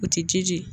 O tɛ ji ji ye